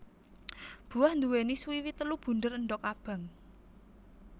Buah nduwèni swiwi telu bunder endog abang